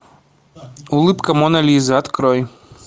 улыбка моны лизы открой